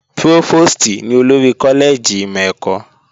Prófòstì ní olórí kọ́lẹ́ẹ̀jì ìmọ̀ ẹ̀kọ́